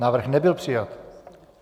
Návrh nebyl přijat.